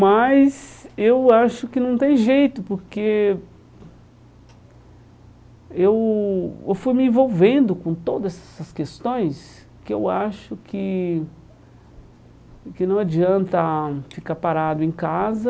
Mas eu acho que não tem jeito, porque eu fui me envolvendo com todas essas questões que eu acho que que não adianta ficar parado em casa.